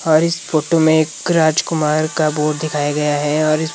और इस फोटो में एक राजकुमार का बोर्ड दिखाई दे रहा है और--